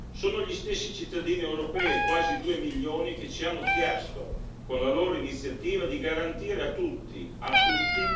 Sono gli stessi cittadini europei quasi 2 milioni che ci hanno chiesto, con la loro iniziativa, di garantire a tutti, a tutti!,